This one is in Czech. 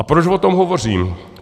A proč o tom hovořím?